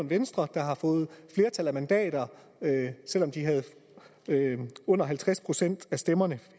venstre har fået flertal af mandater selv om de havde under halvtreds procent af stemmerne